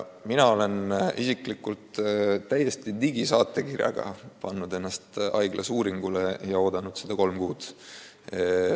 Mina olen isiklikult digisaatekirjaga pannud ennast haiglas uuringule kirja ja oodanud seda uuringut kolm kuud.